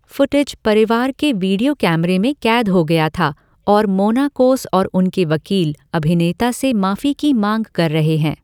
Footage परिवार के video कैमरे में कैद हो गया था और मोनाकोस और उनके वकील अभिनेता से माफी की मांग कर रहे हैं।